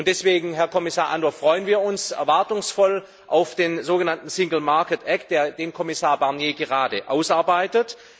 Und deswegen, Herr Kommissar Andor, freuen wir uns erwartungsvoll auf den sogenannten single market act den Kommissar Barnier gerade ausarbeitet.